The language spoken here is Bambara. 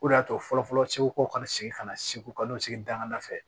O de y'a to fɔlɔfɔlɔ segu kaw ka segin ka na segu ka n'u sigi dangan dafɛ